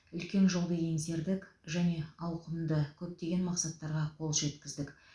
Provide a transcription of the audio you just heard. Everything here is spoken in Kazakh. үлкен жолды еңсердік және ауқымды көптеген мақсаттарға қол жеткіздік